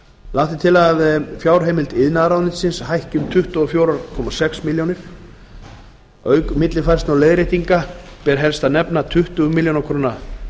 lagt er til að fjárheimild iðnaðarráðuneytis hækki um tuttugu og fjögur komma sex milljónir króna auk millifærslna og leiðréttinga ber helst að nefna tuttugu og fimm milljónir króna